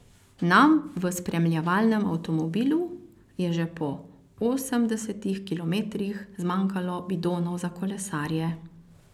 Nam v spremljevalnem avtomobilu je že po osemdesetih kilometrih zmanjkalo bidonov za kolesarje.